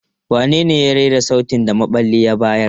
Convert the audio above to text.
Wanene ya rera sautin da maɓalli ya bayar?